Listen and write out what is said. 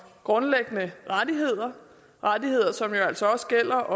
grundlæggende rettigheder rettigheder som jo altså også gælder